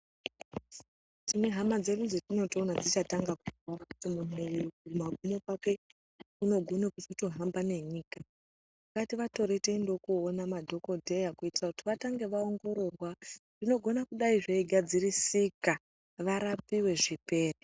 Tine hama dzedu dzatinoto ona dzicha tanga ku kura kuti munhu uyu ku magumo kwake unogone kuzoto hamba ne nyika ngativa tore tiendawo koona madhokodheya kuitira kuti vatange va ongororwa zvinogona kudai zvei gadzirisika varapiwe zvipere.